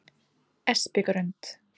Espigrund